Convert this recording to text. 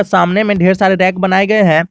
सामने में ढेर रैक बनाए गए हैं।